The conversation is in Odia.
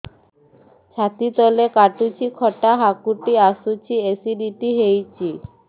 ଛାତି ତଳେ କାଟୁଚି ଖଟା ହାକୁଟି ଆସୁଚି ଏସିଡିଟି ହେଇଚି